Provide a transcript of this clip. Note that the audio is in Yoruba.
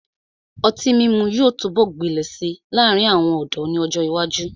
Ọtí mímu yóò túbọ̀ gbilẹ̀ si láàrin àwọn ọ̀dọ́ ni ọ́jọ ìwájú.